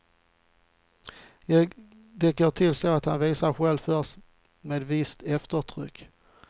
Det går till så att han visar själv först, med visst eftertryck.